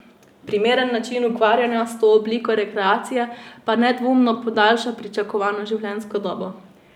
Primeren način ukvarjanja s to obliko rekreacije pa nedvomno podaljša pričakovano življenjsko dobo.